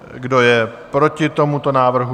Kdo je proti tomuto návrhu?